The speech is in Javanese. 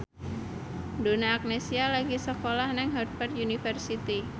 Donna Agnesia lagi sekolah nang Harvard university